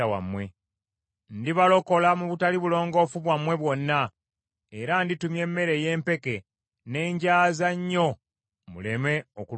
Ndibalokola mu butali bulongoofu bwammwe bwonna, era nditumya emmere ey’empeke ne ngyaza nnyo muleme okulumwa enjala.